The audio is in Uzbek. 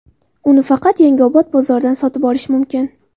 Uni faqat Yangiobod bozoridan sotib olish mumkin.